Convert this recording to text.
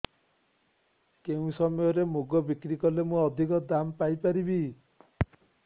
କେଉଁ ସମୟରେ ମୁଗ ବିକ୍ରି କଲେ ମୁଁ ଅଧିକ ଦାମ୍ ପାଇ ପାରିବି